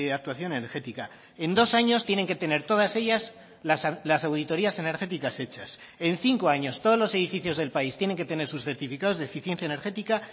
actuación energética en dos años tienen que tener todas ellas las auditorías energéticas hechas en cinco años todos los edificios del país tienen que tener sus certificados de eficiencia energética